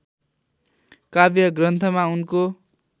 काव्य ग्रन्थमा उनको